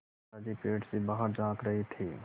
दादाजी पेड़ से बाहर झाँक रहे थे